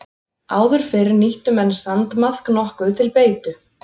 Áður fyrr nýttu menn sandmaðk nokkuð til beitu.